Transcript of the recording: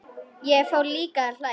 Ég fór líka að hlæja.